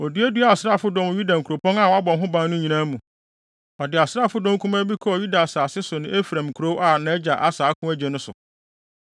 Oduaduaa asraafodɔm wɔ Yuda nkuropɔn a wɔabɔ ho ban no nyinaa mu. Ɔde asraafodɔm kumaa bi kɔɔ Yuda asase so ne Efraim nkurow a nʼagya Asa ako agye no so.